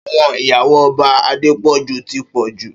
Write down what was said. Áwòn iyàwó Òbá Adepoju ti pòjú